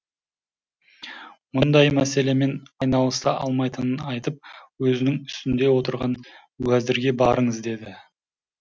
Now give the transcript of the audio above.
мұндай мәселемен айналыса алмайтынын айтып өзінің үстінде отырған уәзірге барыңыз деді